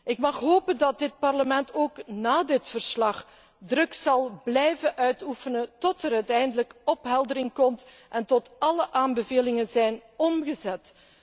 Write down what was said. Ik mag hopen dat dit Parlement ook na dit verslag druk zal blijven uitoefenen tot er uiteindelijk opheldering komt en tot alle aanbevelingen zijn omgezet.